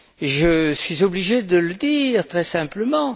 Je suis obligé de le dire, très simplement.